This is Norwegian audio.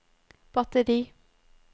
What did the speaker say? batteri